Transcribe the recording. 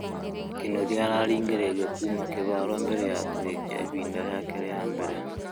Kĩnũthĩa ararĩngĩrĩirĩo kũma kĩharo mbere ya kũrĩkĩa ĩhĩnda rĩake rĩa mbere